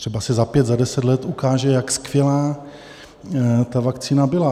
Třeba se za pět, za deset let ukáže, jak skvělá ta vakcína byla.